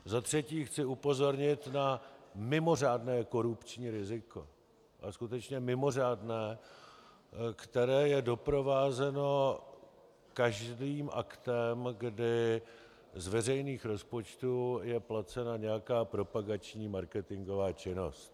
Za třetí chci upozornit na mimořádné korupční riziko, a skutečně mimořádné, které je doprovázeno každým aktem, kdy z veřejných rozpočtů je placena nějaká propagační marketingová činnost.